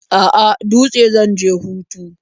A'a, Dutse zan je hutu.